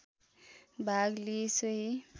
भाग लिई सोही